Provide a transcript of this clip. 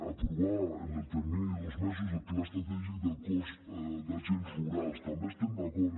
aprovar en el termini de dos mesos el pla estratègic del cos d’agents rurals també hi estem d’acord